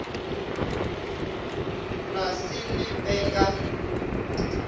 na se le pe ka